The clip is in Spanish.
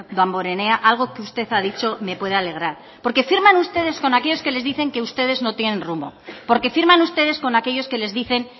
damborenea algo que usted ha dicho me puede alegrar porque firman ustedes con aquellos que le dicen que ustedes no tienen rumbo porque firman ustedes con aquellos que les dicen